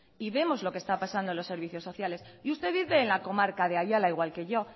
y vemos lo que está pasando en los servicios sociales y usted vive en la comarca de ayala igual que yo